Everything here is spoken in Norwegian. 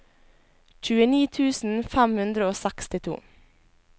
tjueni tusen fem hundre og sekstito